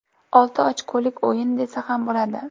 Olti ochkolik o‘yin desa ham bo‘ladi.